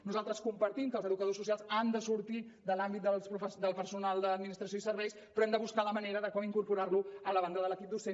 nosaltres compartim que els educadors socials han de sortir de l’àmbit del personal d’administració i serveis però hem de buscar la manera d’incorporar los a la banda de l’equip docent